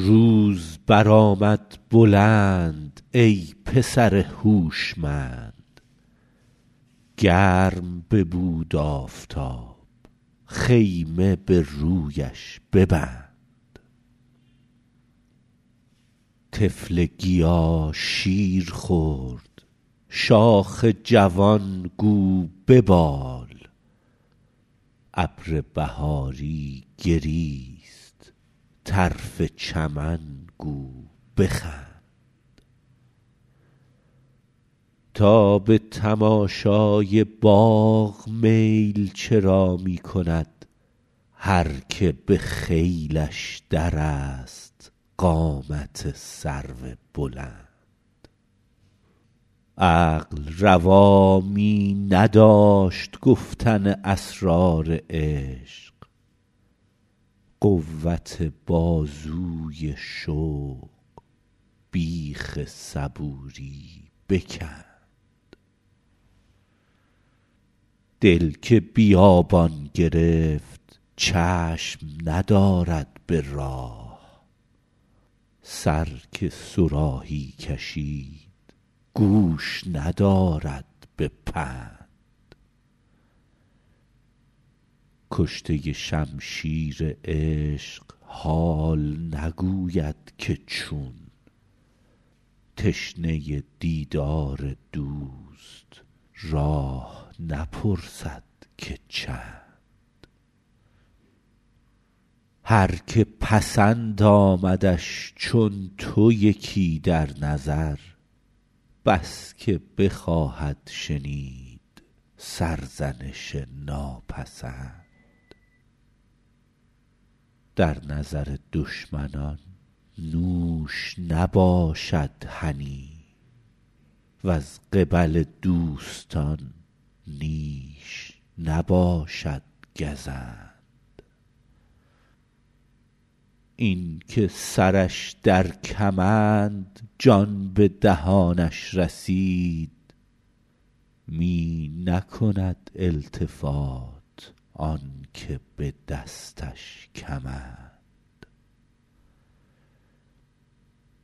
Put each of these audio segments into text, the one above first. روز برآمد بلند ای پسر هوشمند گرم ببود آفتاب خیمه به رویش ببند طفل گیا شیر خورد شاخ جوان گو ببال ابر بهاری گریست طرف چمن گو بخند تا به تماشای باغ میل چرا می کند هر که به خیلش درست قامت سرو بلند عقل روا می نداشت گفتن اسرار عشق قوت بازوی شوق بیخ صبوری بکند دل که بیابان گرفت چشم ندارد به راه سر که صراحی کشید گوش ندارد به پند کشته شمشیر عشق حال نگوید که چون تشنه دیدار دوست راه نپرسد که چند هر که پسند آمدش چون تو یکی در نظر بس که بخواهد شنید سرزنش ناپسند در نظر دشمنان نوش نباشد هنی وز قبل دوستان نیش نباشد گزند این که سرش در کمند جان به دهانش رسید می نکند التفات آن که به دستش کمند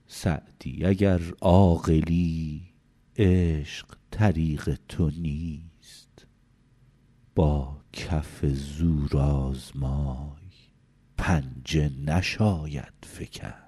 سعدی اگر عاقلی عشق طریق تو نیست با کف زورآزمای پنجه نشاید فکند